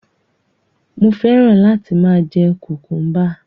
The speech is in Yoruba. Mo fẹ́ràn láti máa jẹ kùkúḿbà.